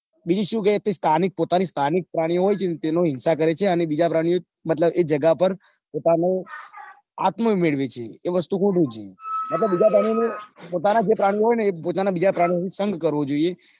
બીજું સુ કે તે સ્થાનિક પોતાના સ્થાનિક પ્રાણીઓ હોય છે ને તેનો હિંસા કરે છે અને બીજા પ્રાણીઓ મતલબ એ જગ્યા પોતાનું આત્મન મેળવે છે એ વસ્તુ ખોટું છે મતલબ બીજા પ્રાણીઓ નું પોતાના જે પ્રાણીઓ હોય ન એ પોતાના પ્રાણીઓનો સંગ કરવો જોઈએ.